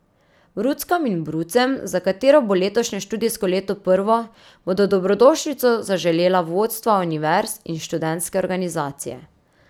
Bruckam in brucem, za katero bo letošnje študijsko leto prvo, bodo dobrodošlico zaželela vodstva univerz in študentske organizacije.